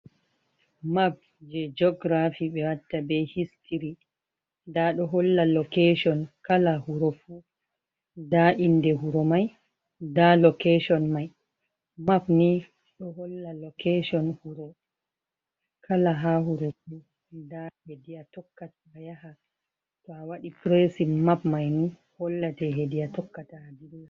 map je geografi be watta be histiri dado holla loketion kala huro fu da inde huro mai da loketion mai map ni doholla lokation kalaha wuro fu da hediya tokkata a yaha to a wadi presin map mai ni hollate hedi atokkata adilla.